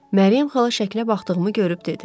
Məryəm xala şəklə baxdığımı görüb dedi.